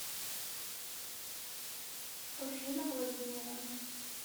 руфина владимировна